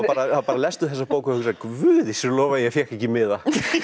bara lestu þessa bók og hugsar Guði sé lof að ég fékk ekki miða